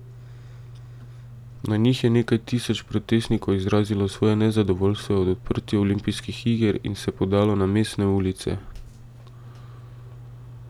Na njih je nekaj tisoč protestnikov izrazilo svoje nezadovoljstvo ob odprtju olimpijskih iger in se podalo na mestne ulice.